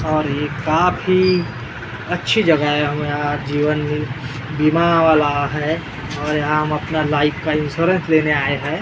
और ये काफी अच्छी जगह है हम यहाँ जीवन बीमा वाला है और यहाँ हम अपना लाइफ का इंश्योरेंस लेने आए हैं ।